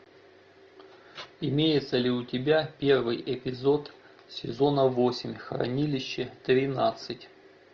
имеется ли у тебя первый эпизод сезона восемь хранилище тринадцать